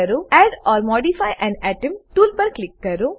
add or modify an atom tool પર click કરો